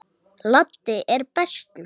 Laddi er bestur.